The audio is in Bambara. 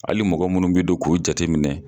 Ali mɔgɔ minnu be don k'u jate minɛ